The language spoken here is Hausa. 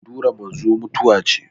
furdura manzo mutuwa ce